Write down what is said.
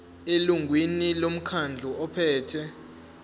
elungwini lomkhandlu ophethe